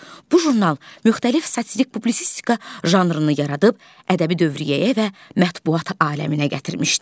Bu jurnal müxtəlif satirik publisistika janrını yaradıb ədəbi dövriyyəyə və mətbəat aləminə gətirmişdi.